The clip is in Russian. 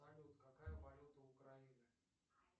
салют какая валюта украины